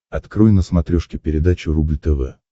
открой на смотрешке передачу рубль тв